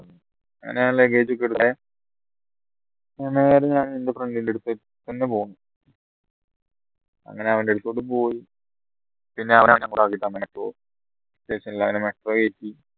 അങ്ങനെ ഞാൻ luggage ഒക്കെ ഉള്ള എൻറെ friend ൻറെ അടുത്തേക്ക് അങ്ങനെ അവൻറടുത്തോട്ടു പോയി